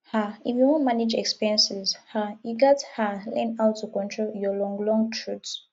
um if you wan manage expenses um you gats um learn how to control your long long throat